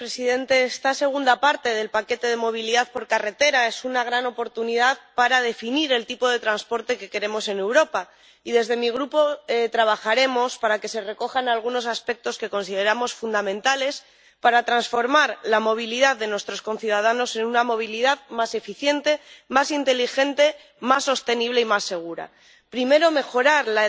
presidente, esta segunda parte del paquete de medidas para la movilidad por carretera es una gran oportunidad para definir el tipo de transporte que queremos en Europa, y desde mi grupo trabajaremos para que se recojan algunos aspectos que consideramos fundamentales para transformar la movilidad de nuestros conciudadanos en una movilidad más eficiente, más inteligente, más sostenible y más segura. Primero, mejorar la eficiencia del sistema de transportes en su conjunto.